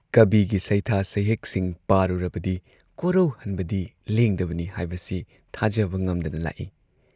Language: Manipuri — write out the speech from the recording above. ꯀꯕꯤꯒꯤ ꯁꯩꯊꯥ ꯁꯩꯍꯦꯛꯁꯤꯡ ꯄꯥꯔꯨꯔꯕꯗꯤ ꯀꯣꯔꯧꯍꯟꯕꯗꯤ ꯂꯦꯡꯗꯕꯅꯤ ꯍꯥꯏꯕꯁꯤ ꯊꯥꯖꯕ ꯉꯝꯗꯅ ꯂꯥꯛꯏ ꯫